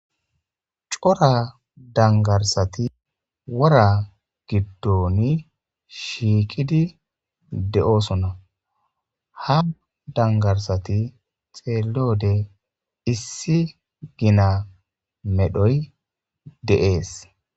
cora dangarsati wora giddoni shiikidi de7oosona ha dangarsati xeelode issi gina medhoy deees